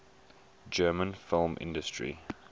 german film industry